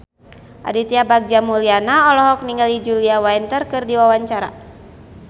Aditya Bagja Mulyana olohok ningali Julia Winter keur diwawancara